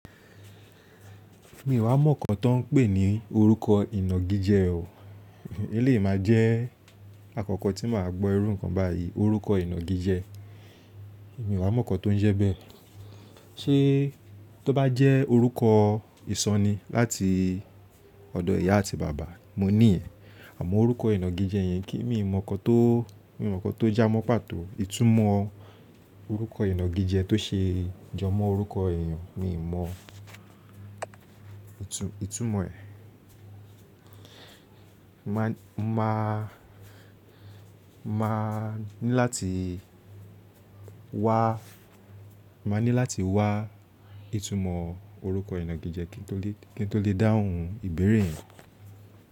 Mi ò wá mọ́ nǹkan tó ń pè ní orúkọ ìnàgijẹ o. É lè má jẹ́ àkọ́kọ́ tí màá gbọ́ ẹrú nǹkan báyìí, orúkọ ìnàgijẹ. Mi ò há mọ́ nǹkan tó ń jẹ́ bẹ́ẹ̀. Ṣé tó bá jẹ́ orúkọ ìsọnì láti ọ̀dọ̀ ìyá àti bàbá, mo ní ẹ̀. Àmọ́ orúkọ ìnàgijẹ yẹn kí mi mọ̀ nǹkan tó, mi mọ̀ nǹkan tó já mọ́ pàtó. Ìtumọ̀ orúkọ ìnàgijẹ tó ṣe jọ mọ́ orúkọ èèyàn, mi mọ ìtumọ̀ ẹ̀. Ma, ma, ma ní láti wá, ma ní láti wá ìtumọ̀ orúkọ ìnàgijẹ kí n tó lè dáhùn ìbéèrè yẹn.